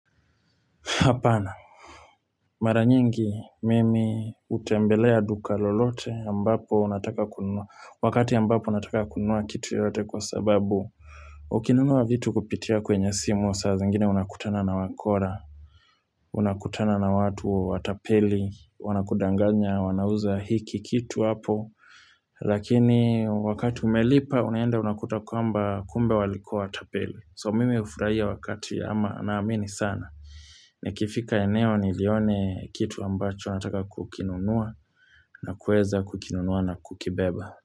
Apana. Maranyingi mimi utembelea duka lolote ya ambapo nataka kununua. Wakati ya mbapo nataka kununua kitu yoyote kwa sababu. Ukinunua vitu kupitia kwenye simu, saa zingine unakutana na wakora. Unakutana na watu watapeli, wanakudanganya, wanauza hiki kitu hapo. Lakini wakati umelipa, unaenda unakuta kwamba kumbe walikuwa watapeli. So mimi ufurahia wakati ama naamini sana. Nikifika eneo ni ilione kitu ambacho nataka kukinunua na kueza kukinunua na kukibeba.